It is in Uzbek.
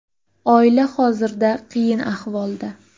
Oila hozirda qiyin ahvolda.